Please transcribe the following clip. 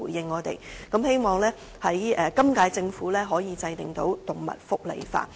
我希望本屆政府可以制定動物福利法。